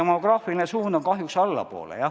Demograafiline suund on kahjuks allapoole.